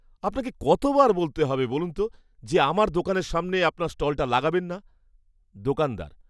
আপনাকে কতবার বলতে হবে বলুন তো যে আমার দোকানের সামনে আপনার স্টলটা লাগাবেন না! দোকানদার